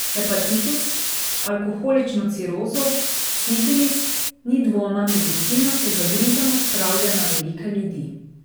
Hepatitis, alkoholično cirozo, sifilis, ni dvoma, medicina se zagrizeno spravlja na velike ljudi.